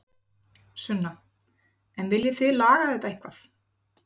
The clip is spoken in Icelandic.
Sunna: En viljið þið laga þetta eitthvað?